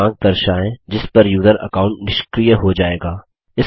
वह दिनांक दर्शायें जिस पर यूजर अकाउंट निष्क्रिय हो जायेगा